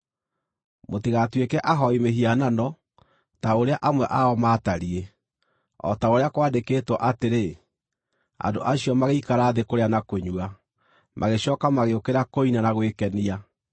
Mũtigatuĩke ahooi mĩhianano, ta ũrĩa amwe ao maatariĩ; o ta ũrĩa kwandĩkĩtwo atĩrĩ: “Andũ acio magĩikara thĩ kũrĩa na kũnyua, magĩcooka magĩũkĩra kũina na gwĩkenia.”